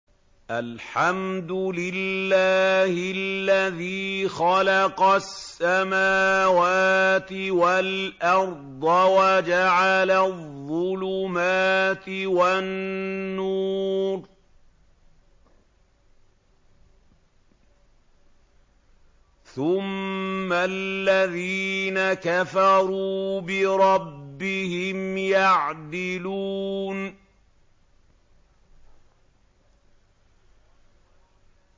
الْحَمْدُ لِلَّهِ الَّذِي خَلَقَ السَّمَاوَاتِ وَالْأَرْضَ وَجَعَلَ الظُّلُمَاتِ وَالنُّورَ ۖ ثُمَّ الَّذِينَ كَفَرُوا بِرَبِّهِمْ يَعْدِلُونَ